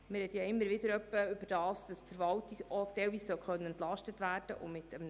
Wir sprechen ja immer wieder davon, dass die Verwaltung teilweise entlastet werden können sollte.